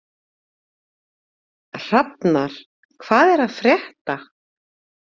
Hrafnar, hvað er að frétta?